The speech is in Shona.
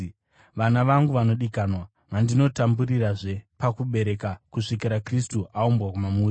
Vana vangu vanodikanwa, vandinotamburirazve pakubereka kusvikira Kristu aumbwa mamuri,